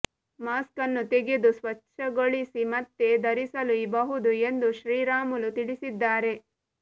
mask ನ್ನು ತೆಗೆದು ಸ್ವಚ್ಛಗೊಳಿಸಿ ಮತ್ತೆ ಧರಿಸಲೂ ಬಹುದು ಎಂದು ಶ್ರೀರಾಮುಲು ತಿಳಿಸಿದ್ದಾರೆ